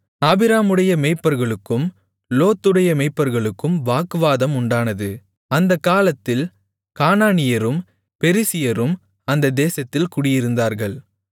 ஆபிராமுடைய மேய்ப்பர்களுக்கும் லோத்துடைய மேய்ப்பர்களுக்கும் வாக்குவாதம் உண்டானது அந்தக் காலத்தில் கானானியரும் பெரிசியரும் அந்த தேசத்தில் குடியிருந்தார்கள்